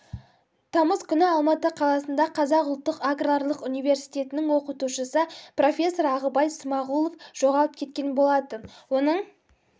тамыз күні алматы қаласында қазақ ұлттық аграрлық университетінің оқытушысы профессор ағыбай смағұлов жоғалып кеткен болатын оның